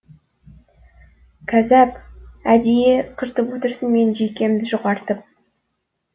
кәззап әдейі қыртып отырсың менің жүйкемді жұқартып